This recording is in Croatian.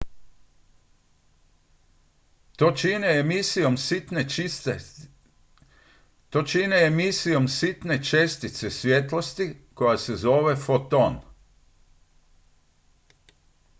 "to čine emisijom sitne čestice svjetlosti koja se zove "foton.""